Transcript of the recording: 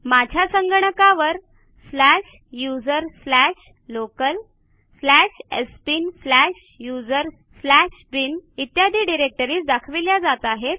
माझ्या संगणकावर slash user slash local slash sbin slash user slash bin इत्यादी directories दाखविल्या जात आहेत